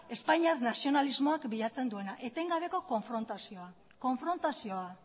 espainiar nazionalismoak bilatzen duena etengabeko konfrontazioa